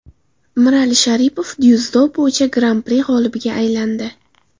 Mirali Sharipov dzyudo bo‘yicha Gran-pri g‘olibiga aylandi.